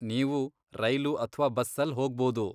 ನೀವು ರೈಲು ಅಥ್ವಾ ಬಸ್ಸಲ್ಲ್ ಹೋಗ್ಬೋದು.